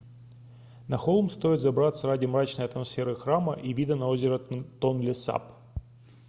на холм стоит забраться ради мрачной атмосферы храма и вида на озеро тонлесап